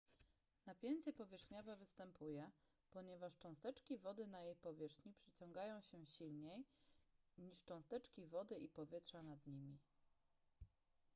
napięcie powierzchniowe występuje ponieważ cząsteczki wody na jej powierzchni przyciągają się silniej niż cząsteczki wody i powietrza nad nimi